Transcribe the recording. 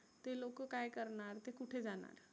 ते लोक काय करणार ते कुठे जाणार?